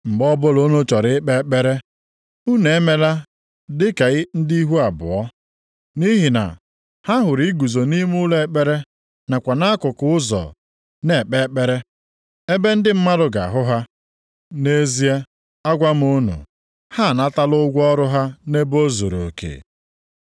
“Mgbe ọbụla unu chọrọ ikpe ekpere, unu emela dị ka ndị ihu abụọ, nʼihi na ha hụrụ iguzo nʼime ụlọ ekpere, nakwa nʼakụkụ ụzọ nʼanya na-ekpe ekpere, ebe ndị mmadụ ga-ahụ ha. Nʼezie, agwa m unu, ha anatala ụgwọ ọrụ ha nʼebe o zuruoke.